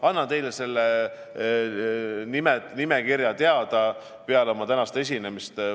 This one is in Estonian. Ma annan teile selle nimekirja teada peale oma tänast esinemist.